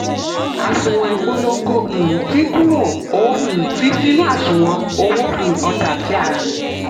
àṣùwọ̀n ìpolongo um dín kúrò ó um fi sínú àṣùwọ̀n owó um ọjà tí a rà.